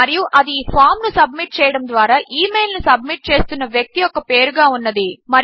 మరియు అది ఈ ఫామ్ ను సబ్మిట్ చేయడము ద్వారా ఇమెయిల్ ను సబ్మిట్ చేస్తున్న వ్యక్తి యొక్క పేరుగా ఉన్నది